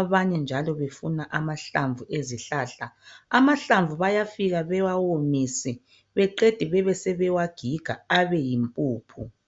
abanye njalo befuna amahlamvu ezihlahla .Amahlamvu bayafika bewawomise beqede bebesebewagiga abeyimpuphu.